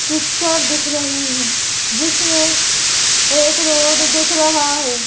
Picture दिख रही हैं जिसमें एक रोड दिख रहा है।